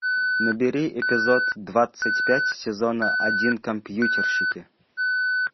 набери эпизод двадцать пять сезона один компьютерщики